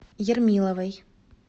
ермиловой